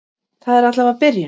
Það er allavega byrjun!